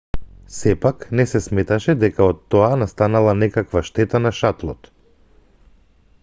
сепак не се сметаше дека од тоа настанала некаква штета на шатлот